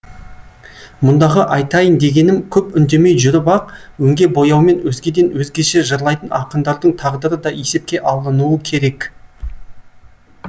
мұндағы айтайын дегенім көп үндемей жүріп ақ өңге бояумен өзгеден өзгеше жырлайтын ақындардың тағдыры да есепке алынуы керек